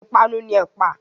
Ìpanu ni ẹ̀pà.